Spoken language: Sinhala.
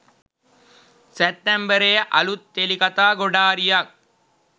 සැප්තැම්බරයේ අළුත් ටෙලි කථා ගොඩාරියක්